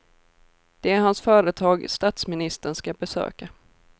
Det är hans företag statsministern ska besöka.